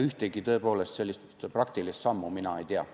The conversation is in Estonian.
Ühtegi tõepoolest praktilist sammu mina ei tea.